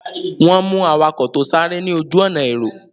Wọ́n mú awakọ̀ tó sáré ní ojú-ọ̀nà èrò.